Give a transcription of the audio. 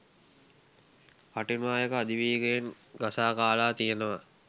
කටුනායක අධිවේගයෙන් ගසා කාලා තියෙනවා.